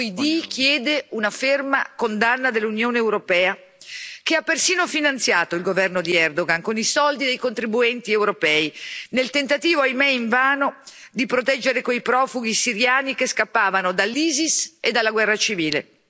Il gruppo ID chiede una ferma condanna dell'Unione europea, che ha persino finanziato il governo di Erdogan con i soldi dei contribuenti europei, nel tentativo, ahimè invano, di proteggere quei profughi siriani che scappavano dall'Isis e dalla guerra civile.